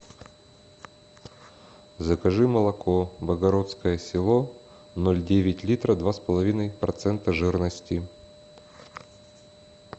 закажи молоко богородское село ноль девять литра два с половиной процента жирности